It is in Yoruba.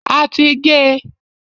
A ti gé e.